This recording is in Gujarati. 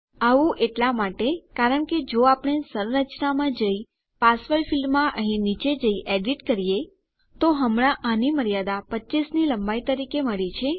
આવું એટલા માટે કારણ કે જો આપણે સંરચનામાં જઈ પાસવર્ડ ફીલ્ડમાં અહીં નીચે જઈ એડીટ કરીએ તો હમણાં આની મર્યાદા 25 ની લંબાઈ તરીકે મળી છે